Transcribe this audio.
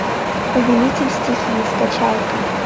повелитель стихий скачай ка